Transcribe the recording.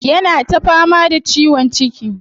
Yana ta fama da ciwon ciki.